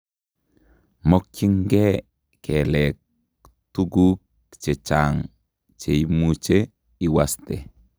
Mokyinkee kelek tukuk chechang' cheimuche iwaste